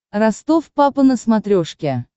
ростов папа на смотрешке